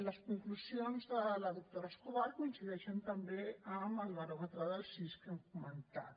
les conclusions de la doctora escobar coincideixen també amb el baròmetre del cis que hem comentat